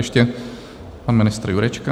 Ještě pan ministr Jurečka.